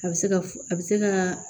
A bɛ se ka f a bɛ se ka